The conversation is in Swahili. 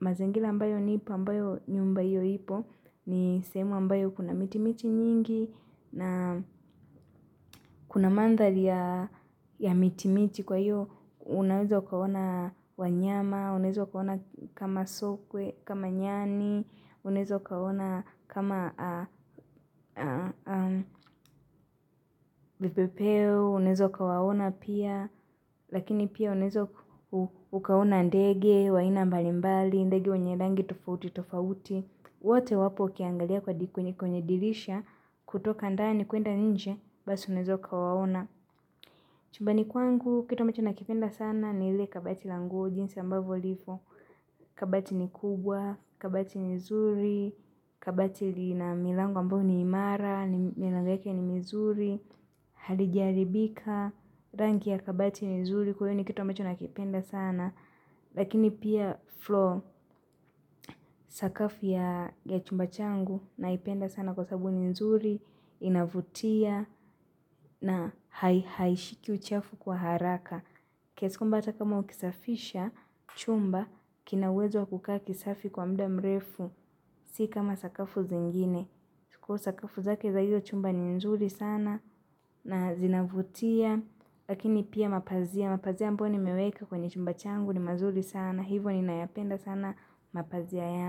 mazingira ambayo nipo ambayo nyumba hiyo ipo ni semu ambayo kuna miti miti nyingi na kuna mandhari ya miti miti kwa hiyo unaweza ukaona wanyama, unaweza ukaona kama sokwe, kama nyani, unaweza ukaona kama ah, ah, am, vipepeo, unewezo ukawaona pia. Lakini pia unaweza ukaona ndege, wa aina mbali mbali, ndege wenye rangi tofauti tofauti. Wote wapo ukiangalia kwa di kwenye kwenye dirisha kutoka ndani kuenda nje basi unaeza ukawaona. Chumbani kwangu kitu ambacho nakipenda sana ni ile kabati la nguo jinsi ambavyo liko. Kabati ni kubwa, kabati ni nzuri, kabati lina milango ambayo ni imara, milango yake ni mizuri halijaharibika rangi ya kabati ni nzuri kwa hiyo ni kitu ambacho nakipenda sana lakini pia floor sakafu ya chumba changu naipenda sana kwa sababu ni nzuri inavutia na ha, haishiki uchafu kwa haraka kiasi kwamba hata kama ukisafisha chumba kina uwezo kukaa kisafi kwa muda mrefu si kama sakafu zingine kwa hiyo sakafu zake za hiyo chumba ni nzuri sana na zinavutia. Lakini pia mapazia mapazia ambayo nimeweka kwenye chumba changu ni mazuri sana. Hivo ninayapenda sana. Mapazia ya.